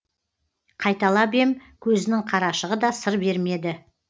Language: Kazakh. қайталап ем көзінің қарашығы да сыр бермеді